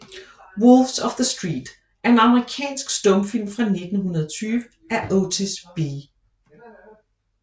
Wolves of the Street er en amerikansk stumfilm fra 1920 af Otis B